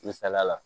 Misaliya la